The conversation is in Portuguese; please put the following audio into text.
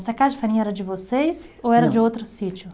Essa casa de farinha era de vocês ou era de outro sítio?